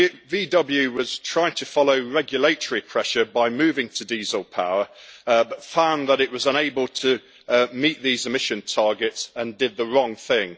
VW was trying to follow regulatory pressure by moving to diesel power but found that it was unable to meet these emission targets and did the wrong thing.